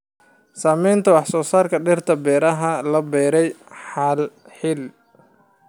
Saamaynta wax soo saarka dhirta ee beeraha la beeray hal xilli.